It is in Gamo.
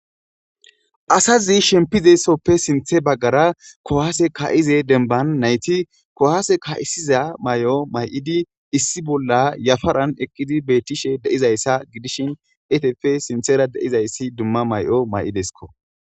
Asazi shempizesoppe sinthe baggara kohaase ka7ize denban nayti kohaase ka7isiza may7o may7idi issi bolla yafaran eqqidi beettishe deizayssa gidishin etefe sinthera deizayssi dumma may7o may7ideskko.